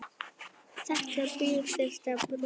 Þetta bil þyrfti að brúa.